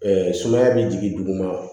sumaya bɛ jigin duguma